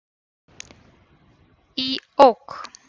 Í OK!